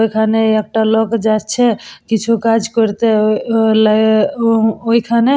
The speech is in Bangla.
এখানে একটা লোক যাচ্ছে কিছু কাজ করতে আআআ উহ্হঃ ল ও ও ওইখানে--